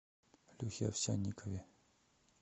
лехе овсянникове